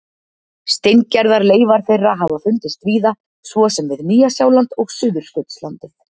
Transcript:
Steingerðar leifar þeirra hafa fundist víða, svo sem við Nýja-Sjáland og Suðurskautslandið.